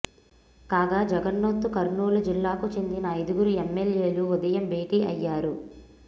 కాగా జగన్తో కర్నూలు జిల్లాకు చెందిన ఐదుగురు ఎమ్మెల్యేలు ఉదయం భేటీ అయ్యారు